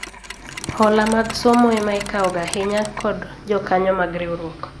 Hola mag somo ema ikawo ga ahinya kod jokanyo mag riwruok